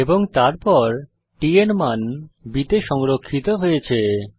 এবং তারপর t এর মান b তে সংরক্ষিত হয়েছে